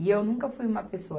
E eu nunca fui uma pessoa.